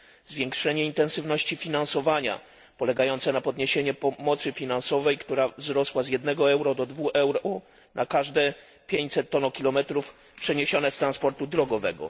zwiększenie intensywności finansowania, polegające na podniesieniu pomocy finansowej, która wzrosła z jednego euro do dwóch euro na każde 500 tonokilometrów przeniesione z transportu drogowego